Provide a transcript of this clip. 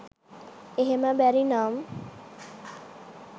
එහෙම බැරිනම්